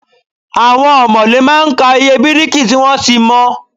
Àwon òmòlé má a n ka iye bíríkì tí wón to mo